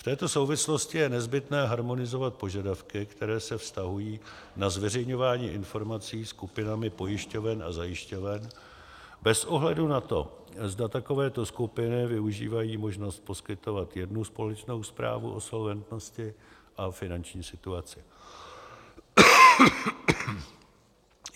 V této souvislosti je nezbytné harmonizovat požadavky, které se vztahují na zveřejňování informací skupinami pojišťoven a zajišťoven, bez ohledu na to, zda takovéto skupiny využívají možnost poskytovat jednu společnou zprávu o solventnosti a finanční situaci.